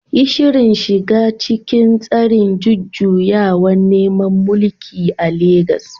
Yi Shirin shiga cikin tsarin jujjuyawar neman mulki a legas